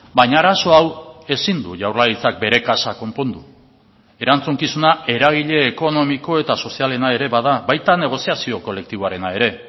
baina arazo hau ezin du jaurlaritzak bere kaxa konpondu erantzukizuna eragile ekonomiko eta sozialena ere bada baita negoziazio kolektiboarena ere